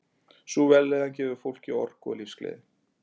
Sú vellíðan gefur fólki orku og lífsgleði.